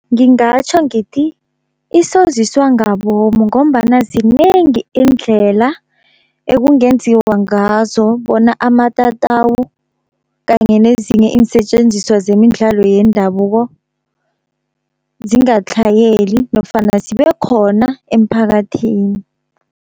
Ngingatjho ngithi isoziswa ngabomu, ngombana zinengi iindlela ekungenziwa ngazo bona amatatawu kanye nezinye iinsetjenziswa zemidlalo yendabuko, zingatlhayeli nofana zibekhona emphakathini.